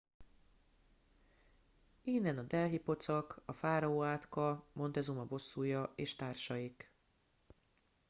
innen a delhi pocak a fáraó átka montezuma bosszúja és társaik